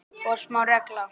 Forsmáð regla.